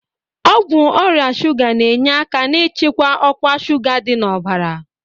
Ọgwụ ọrịa shuga na-enye aka n'ịchịkwa ọkwa shuga dị n'ọbara.